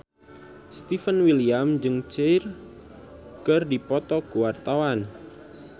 Stefan William jeung Cher keur dipoto ku wartawan